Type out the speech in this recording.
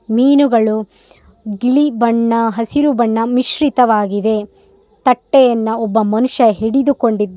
ಮೀನುಗಳು ಬಿಳಿ ಬಣ್ಣ ಹಸಿರು ಬಣ್ಣ ಮಿಶ್ರಿತವಾಗಿದೆ ತಟ್ಟೆಯನ್ನು ಒಬ್ಬ ಮನುಷ್ಯ ಹಿಡಿದುಕೊಂಡಿದ್ --